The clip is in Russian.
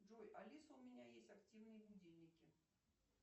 джой алиса у меня есть активные будильники